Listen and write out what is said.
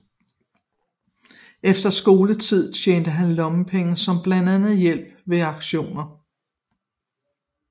Efter skoletid tjente han lommepenge som blandt andet hjælper ved auktioner